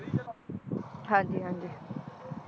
ਹਾਂਜੀ ਹਾਂਜੀ